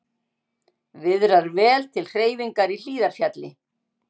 Viðrar vel til hreyfingar í Hlíðarfjalli